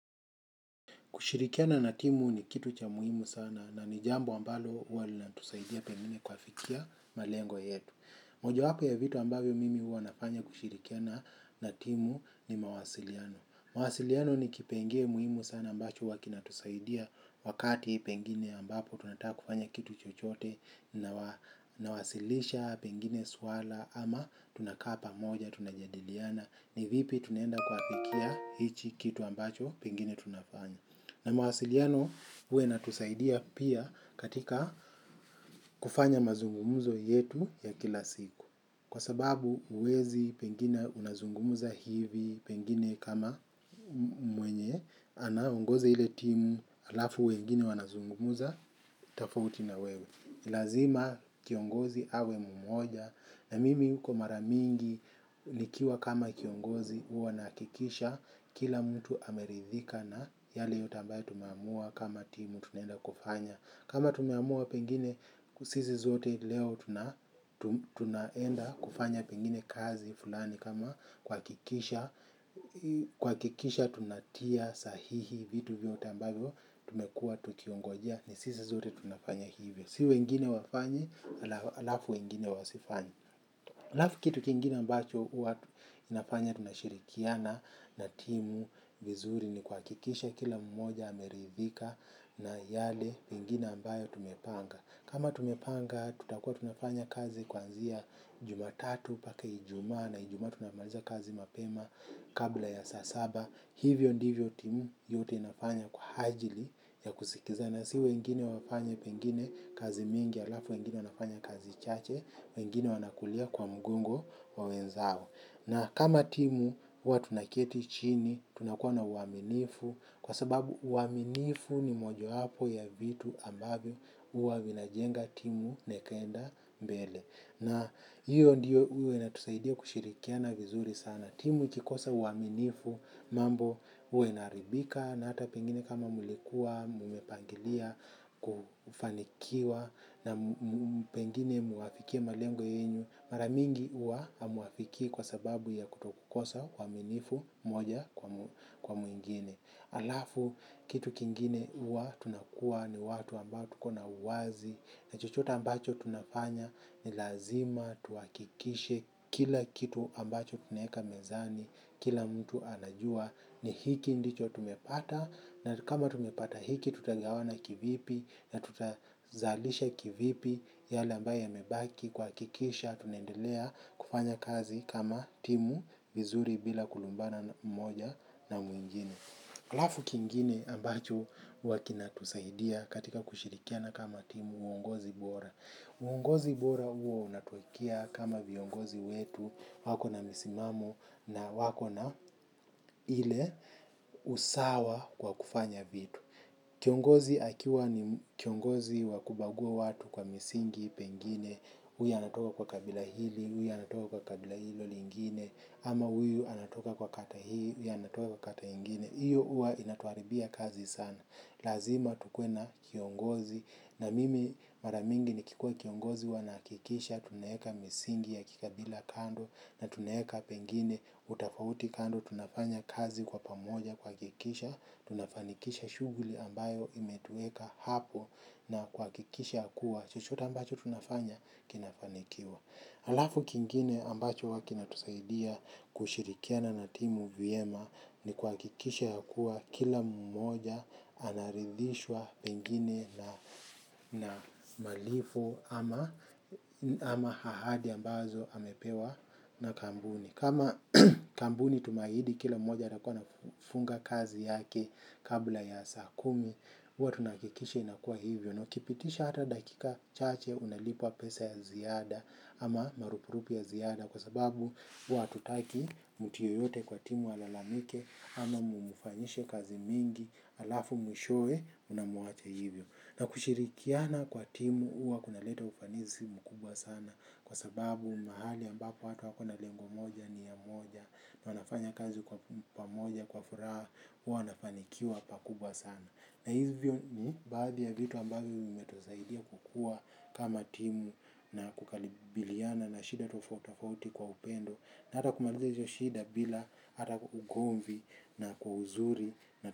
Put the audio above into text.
Kushirikiana na timu ni kitu cha muhimu sana, na ni jambo ambalo huwa lina tusaidia pengine kuafikia malengo yetu. Moja wapo ya vitu ambavyo mimi huwa nafanya kushirikiana na timu ni mawasiliano. Mawasiliano ni kipenge muhimu sana ambacho huwa kinatusaidia wakati pengine ambapo tunataka kufanya kitu chochote nawasilisha pengine swala ama tunaka pamoja tunajadiliana. Ni vipi tunaenda kuafikia hichi kitu ambacho pengine tunafanya. Na mawasiliano huwa inatusaidia pia katika kufanya mazungumuzo yetu ya kila siku. Kwa sababu uwezi pengine unazungumuza hivi pengine kama mwenye anaeongoza ile timu alafu wengine wanazungumuza tofauti na wewe. Lazima kiongozi awe mmoja na mimi huko mara mingi nikiwa kama kiongozi huwa nahakikisha kila mtu ameridhika na yale yote ambayo tumeamua kama timu tunenda kufanya. Kama tumamua pengine sisi zote leo tunaenda kufanya pengine kazi fulani kama kuhakikisha tunatia sahihi vitu vyote ambayvo tumekua tukingojea ni sisi sote tunafanya hivi. Si weingine wafanye, alafu wengine wasifanye. Alafu kitu kingine ambacho huwa inafanya tunashirikiana na timu vizuri ni kuhakikisha kila mmoja ameridhika na yale pengine ambayo tumepanga. Kama tumepanga tutakua tunafanya kazi kuanzia Jumatatu pake Ijuma na Ijuma tunamaliza kazi mapema kabla ya saa saba. Hivyo ndivyo timu yote inafanya kwa ajili ya kusikizana si wengine wafanya pengine kazi mingi alafu wengine wanafanya kazi chache wengine wanakulia kwa mgongo wa wezao. Na kama timu huwa tunaketi chini tunakuwa na uaminifu kwa sababu uaminifu ni moja wapo ya vitu ambavyo huwa vinajenga timu na ikenda mbele. Na hiyo ndiyo huwa inatusaidia kushirikiana vizuri sana. Timu ikikosa uaminifu mambo huwa inaharibika na hata pengine kama mulikuwa, mumepangilia kufanikiwa na pengine muwafikie malengo yenyu. Mara mingi huwa amuafiki kwa sababu ya kutokukosa uaminifu moja kwa mwingine. Alafu kitu kingine huwa tunakua ni watu ambao tuko na uwazi na chochota ambacho tunafanya ni lazima tuhakikishe kila kitu ambacho tunaweka mezani kila mtu anajua ni hiki ndicho tumepata. Na kama tumepata hiki tutagawana kivipi, na tutazalisha kivipi yale ambao yamebaki kuhakikisha tunaendelea kufanya kazi kama timu vizuri bila kulumbana moja na mwingine. Alafu kingine ambacho huwa kinatusahidia katika kushirikiana kama timu, uongozi bora. Uongozi bora huwa unatuwekea kama viongozi wetu wako na misimamo na wako na ile usawa kwa kufanya vitu. Kiongozi akiwa ni kiongozi wakubagua watu kwa misingi, pengine, huyu anatoka kwa kabila hili, huyu anatoka kwa kabila hilo lingine, ama huyu anatoka kwa kata hii, huyu anatoka kwa kata ingine. Hiyo huwa inatuharibia kazi sana. Lazima tukuwe na kiongozi. Na mimi mara mingi nikikua kiongozi huwa nahakikisha. Tunaweka misingi ya kikabila kando na tunaweka pengine utafauti kando. Tunafanya kazi kwa pamoja kuhakikisha. Tunafanikisha shughuli ambayo imetuweka hapo na kuhakikisha ya kuwa, chochote ambacho tunafanya kinafanikiwa. Alafu kingine ambacho huwa kina tusaidia kushirikiana na timu vyema ni kuhakikisha ya kuwa kila mmoja anaridhishwa pengine na na malipo ama ahadi ambazo amepewa na kambuni. Kama kambuni tumeahidi kila moja atakuwa anafunga kazi yake kabla ya saa kumi. Huwa tunahakikisha inakuwa hivyo nakipitisha hata dakika chache unalipwa pesa ya ziada ama marupurupi ya ziada kwa sababu. Huwa hatutaki mtu yoyote kwa timu alalamike ama mumufanyishe kazi mingi. Alafu mwishowe munamuacha hivyo, na kushirikiana kwa timu huwa kuna leta ufanisi mkubwa sana. Kwa sababu mahali ambako watu wako na lengo moja, nia moja, na wanafanya kazi kwa pamoja kwa furaha. Huwa wanafanikiwa pakubwa sana, na hivyo ni baadhi ya vitu ambavyo vimetusaidia kukua kama timu. Na kukalibiliana na shida tofoto kauti kwa upendo na hata kumaliza hizo shida bila hata ugomvi na kwa uzuri.